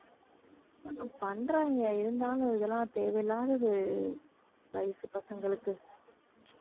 பண்றாங்க இருந்தாலும் இதெல்லாம் தேவையில்லாதது வயசு பசங்களுக்கு